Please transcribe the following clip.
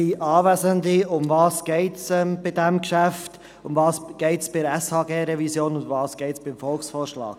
Worum geht es bei diesem Geschäft, worum geht es bei der SHG-Revision, und worum geht es beim Volksvorschlag?